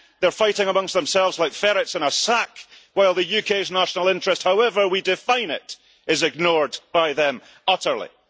They're fighting amongst themselves like ferrets in a sack, while the UK's national interest, however we define it, is ignored by them utterly.